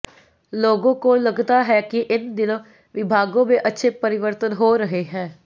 लोगों को लगता है कि इन दोनों विभागों में अच्छे परिवर्तन हो रहे हैं